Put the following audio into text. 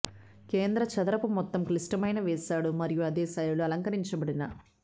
కేంద్ర చదరపు మొత్తం క్లిష్టమైన వేశాడు మరియు అదే శైలిలో అలంకరించబడిన